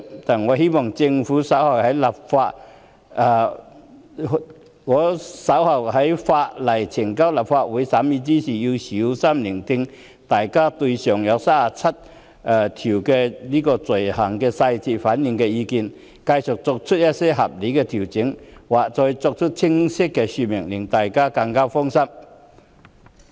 但我仍希望政府稍後在有關法案呈交立法會審議時，細心聆聽大家對其餘37類罪類的意見，繼續作出合理的調整，或作更清晰的說明，令大家更加放心。